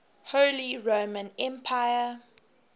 holy roman emperor